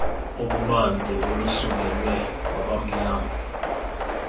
obubanzi olusekelwe kwabamnyama